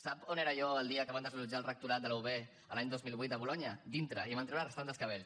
sap on era jo el dia que van desallotjar el rectorat de la ub l’any dos mil vuit de bolonya dintre i me’n van treure arrossegant me dels cabells